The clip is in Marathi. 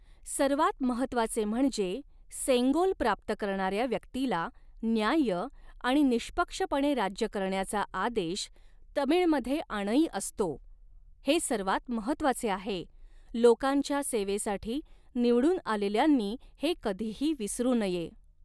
सर्वात महत्त्वाचे म्हणजे, सेंगोल प्राप्त करणाऱ्या व्यक्तीला न्याय्य आणि निष्पक्षपणे राज्य करण्याचा आदेश तमिळमध्ये आणई असतो, हे सर्वात महत्वाचे आहे, लोकांच्या सेवेसाठी निवडून आलेल्यांनी हे कधीही विसरू नये.